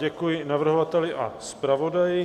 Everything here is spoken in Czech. Děkuji navrhovateli a zpravodaji.